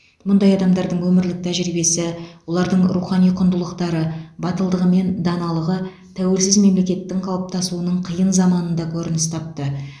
мұндай адамдардың өмірлік тәжірибесі олардың рухани құндылықтары батылдығы мен даналығы тәуелсіз мемлекеттің қалыптасуының қиын заманында көрініс тапты